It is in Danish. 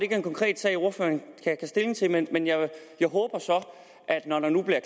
er en konkret sag ordføreren kan tage stilling til men jeg håber så at når der nu bliver